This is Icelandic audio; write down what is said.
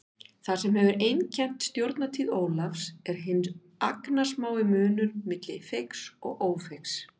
Það sem hefur einkennt stjórnartíð Ólafs er hinn agnarsmái munur milli feigs og ófeigs.